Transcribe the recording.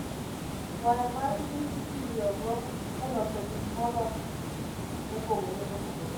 Waya mar Kich itiyogo e loso gik molos gi gik mopogore opogore.